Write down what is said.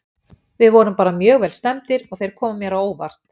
Við vorum bara mjög vel stemmdir og þeir komu mér á óvart.